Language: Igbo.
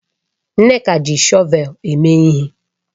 Nneka ji shọvel eme ihe.